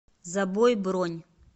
забой бронь